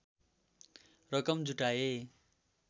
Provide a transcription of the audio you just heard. रकम जुटाए